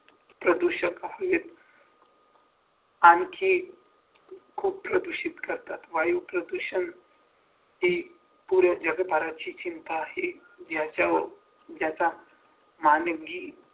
प्रदूषक हवेत आणखी खूप प्रदूषित करतात वायू प्रदूष ही पूर्ण जगभराचे चिंता आहे ज्याच्यावर ज्याचा मानवी